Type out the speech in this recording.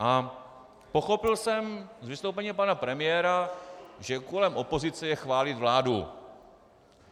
A pochopil jsem z vystoupení pana premiéra, že úkolem opozice je chválit vládu.